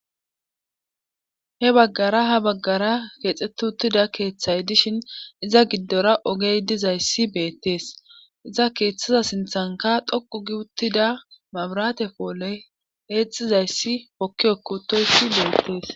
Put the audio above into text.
He baggara ha baggara keexettiuttida keethay dishin iza giddora ogey dizayssi beettees izza keethaza sinthankka dhoqqu uttida mabiraate pooley eexxizayssi hokki hokki uttoyssi beettees.